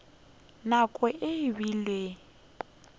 nako e be e le